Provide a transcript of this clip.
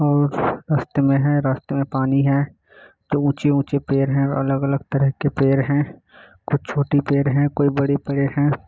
और रास्ते में है और रास्ते में पानी है। दो ऊँची ऊँची पेड़ है। अलग अलग तरह के पेड़ है। कुछ छोटी पेड़ है। कोई बड़ी पेड़ है।